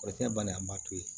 O tɛ kɛ bali an ma yen